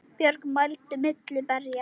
Björg mælti milli berja